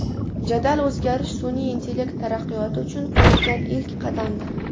Jadal o‘zgarish sun’iy intellekt taraqqiyoti uchun qo‘yilgan ilk qadamdir.